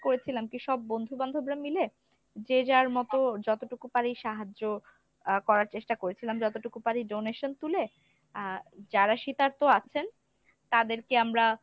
করেছিলাম কী সব বন্ধু-বান্ধবরা মিলে যে যার মত যতটুকু পারি সাহায্য আহ করার চেষ্টা করেছিলাম যতটুকু পারি donation তুলে আহ যারা শীতার্থ আছেন তাদেরকে আমরা